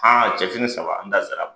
cɛfini saba an da ser'a ma.